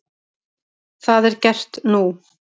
Það er gert nú.